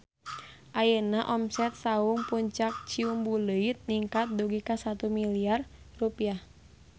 Ayeuna omset Saung Puncak Ciumbuleuit ningkat dugi ka 1 miliar rupiah